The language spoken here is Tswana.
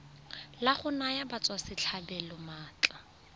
la go naya batswasetlhabelo maatla